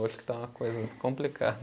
Que está uma coisa complicada.